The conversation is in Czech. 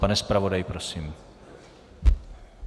Pane zpravodaji, prosím.